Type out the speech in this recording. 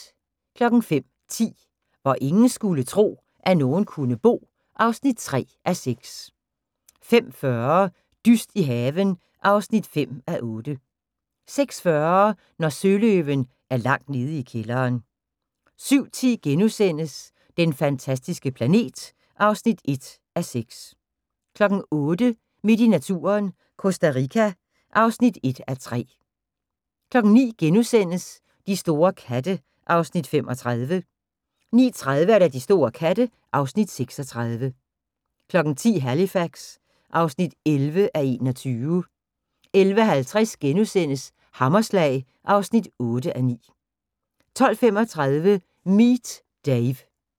05:10: Hvor ingen skulle tro, at nogen kunne bo (3:6) 05:40: Dyst i haven (5:8) 06:40: Når søløven er langt nede i kælderen 07:10: Den fantastiske planet (1:6)* 08:00: Midt i naturen – Costa Rica (1:3) 09:00: De store katte (Afs. 35)* 09:30: De store katte (Afs. 36) 10:00: Halifax (11:21) 11:50: Hammerslag (8:9)* 12:35: Meet Dave